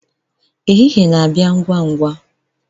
ehihie na-abịa ngwa ngwa